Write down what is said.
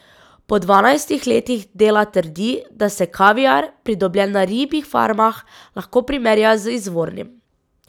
Po dvanajstih letih dela trdi, da se kaviar, pridobljen na ribjih farmah, lahko primerja z izvornim.